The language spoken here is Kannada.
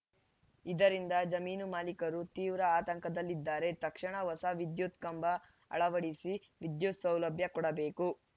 ಇದರಿಂದ ಜಮೀನು ಮಾಲೀಕರು ತೀವ್ರ ಆತಂಕದಲ್ಲಿದ್ದಾರೆ ತಕ್ಷಣ ಹೊಸ ವಿದ್ಯುತ್‌ ಕಂಬ ಅಳವಡಿಸಿ ವಿದ್ಯುತ್‌ ಸಭಲಭ್ಯ ಕೊಡಬೇಕು